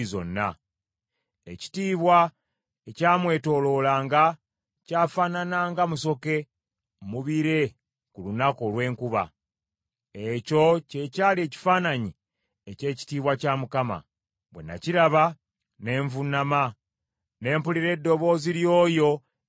Ekitiibwa ekyamwetooloolanga kyafaanana nga musoke mu bire ku lunaku olw’enkuba. Ekyo kye kyali ekifaananyi eky’ekitiibwa kya Mukama . Bwe nakiraba, ne nvuunama, ne mpulira eddoboozi ly’oyo eyali ayogera.